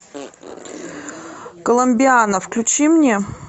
коломбиана включи мне